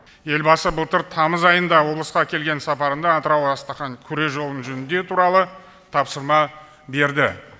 елбасы былтыр тамыз айында облысқа келген сапарында атырау астрахань күре жолын жөндеу туралы тапсырма берді